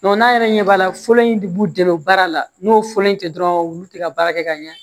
n'a yɛrɛ ɲɛ b'a la fɔlɔ in de b'u dɛmɛ baara la n'o fɔlɔ in tɛ dɔrɔn olu tɛ ka baara kɛ ka ɲɛ